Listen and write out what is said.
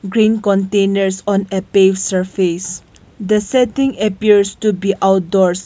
green containers on a page surface the setting appears to be outdoors.